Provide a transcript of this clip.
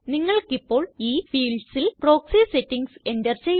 നിങ്ങള്ക്കിപ്പോള് ഈ fieldsല് proxy settings enter ചെയ്യാം